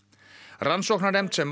rannsóknarnefnd sem